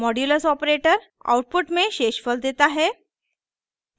modulus operator output में शेषफल देता है